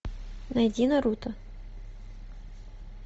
найди наруто